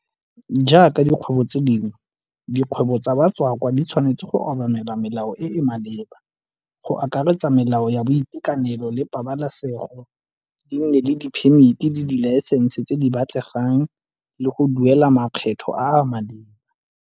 Jaaka dikgwebo tse dingwe, dikgwebo tsa batswakwa di tshwanetse go obamela melao e e maleba, go akaretsa melao ya boitekanelo le pabalesego, di nne le diphemiti le dilaesense tse di batlegang, le go duela makgetho a a maleba.